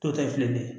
Dɔw ta ye filɛli ye